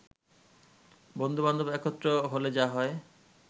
বন্ধুবান্ধব একত্র হলে যা হয়